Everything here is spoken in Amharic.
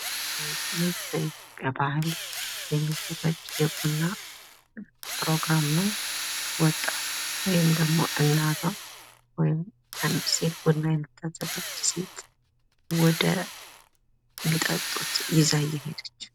የቤት ዕቃዎች ከእንጨት፣ ከብረት፣ ከቆዳና ከፕላስቲክ ሊሠሩ የሚችሉ ሲሆን ጥራታቸውና የቆይታ ጊዜያቸው ይለያያል።